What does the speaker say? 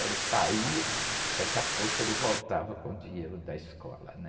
Ele saía, daqui a pouco ele voltava com o dinheiro da escola, né?